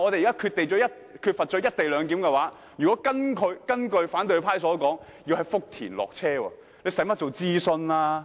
如果不實施"一地兩檢"，而是如同反對派所說在福田下車過關，那又何須諮詢？